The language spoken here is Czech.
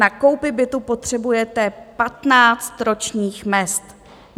Na koupi bytu potřebujete 15 ročních mezd.